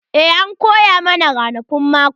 Eh an koya mana ranakun mako.